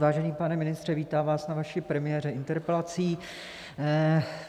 Vážený pane ministře, vítám vás na vaší premiéře interpelací.